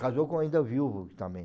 Casou com ainda viúvo também.